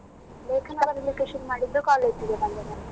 ಲೇಖನ ಬರೀಲಿಕ್ಕೆ ಶುರು ಮಾಡಿದ್ದು college ಗೆ ಬಂದ ಮೇಲೆ.